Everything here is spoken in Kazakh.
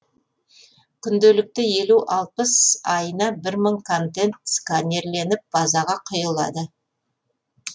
күнделікті еуі алпыс айына бір мың контент сканерленіп базаға құйылады